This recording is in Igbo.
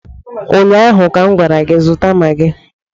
ụnyaahụ ka m gwara gị zụta magị